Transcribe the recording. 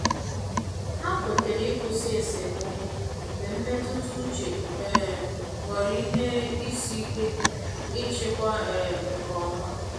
Ha kwetere ịkwụsị esemokwu mgbe mmetụta uche um ghọrọ ihe isi ike ịchịkwa um nke ọma.